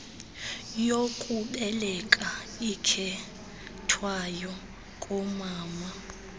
yokubeleka ikhethwayo koomama